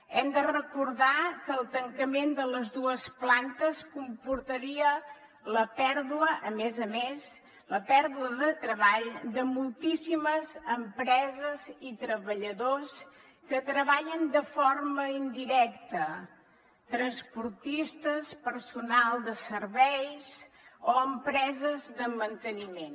hem de recordar que el tancament de les dues plantes comportaria la pèrdua a més a més la pèrdua de treball de moltíssimes empreses i treballadors que treballen de forma indirecta transportistes personal de serveis o empreses de manteniment